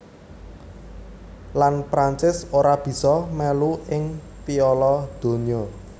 Lan Prancis ora bisa melu ing Piala Donya